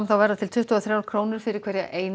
verða til tuttugu og þrjár krónur fyrir hverja eina